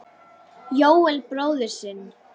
Jóel bróður sinn.